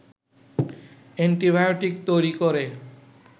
antibiotic তৈরি করে